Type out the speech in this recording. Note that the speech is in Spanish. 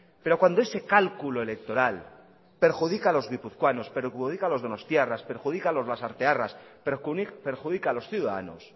pero cuando ese cálculo electoral perjudica a los guipuzcoanos perjudica a los donostiarras perjudica a los lasartearras perjudica a los ciudadanos